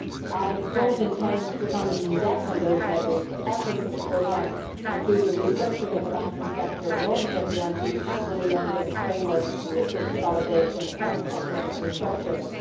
I do not intend to comment in depth on those measures, but elements of the programme include a restructuring of the banking sector, an audit of the anti money laundering framework, fiscal consolidation and economic restructuring.